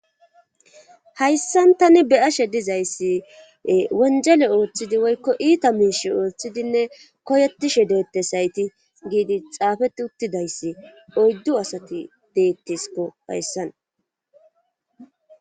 hayssan tani beyashe dizayssi wonjele ooththidi woykko iita miishi ooththidinne koyetishe deettes sayti giidi xaafeti uttidayssi oyddu asati deettiskko hayssan